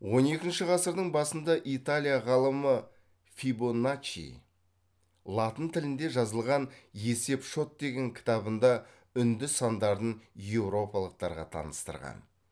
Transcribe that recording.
он екінші ғасырдың басында италия ғалымы фибоначчи латын тілінде жазылған есеп шот деген кітабында үнді сандарын еуропалықтарға таныстырған